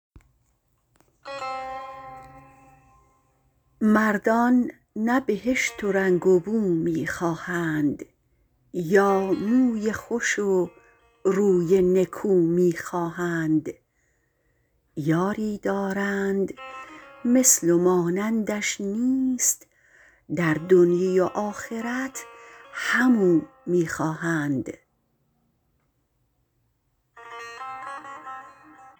مردان نه بهشت و رنگ و بو می خواهند یا موی خوش و روی نکو می خواهند یاری دارند مثل و مانندش نیست در دنیی و آخرت هم او می خواهند